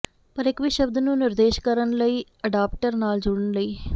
ਪਰ ਇਕ ਵੀ ਸ਼ਬਦ ਨੂੰ ਨਿਰਦੇਸ਼ ਕਰਨ ਲਈ ਅਡਾਪਟਰ ਨਾਲ ਜੁੜਨ ਲਈ